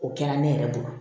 O kɛra ne yɛrɛ bolo